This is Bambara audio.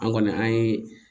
An kɔni an ye